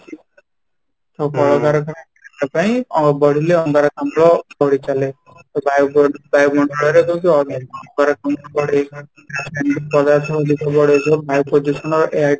ଆଉ କଳକାରଖାନା ପାଇଁ ବଢିଲେ ଅଙ୍ଗାରକାମ୍ଳ ବଢି ଚାଲେ ଏଇ ବାୟୁ ଏଇ ବାୟୁ ମଣ୍ଡଳ ରେ ଯେମିତି ଅଙ୍ଗାରକାମ୍ଳ ବଢେଇବା